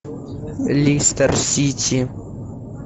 лестер сити